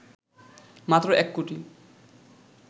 মাত্র ১ কোটি